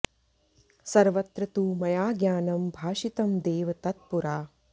सर्वत्र तु मया ज्ञानं भाषितं देव तत् पुरा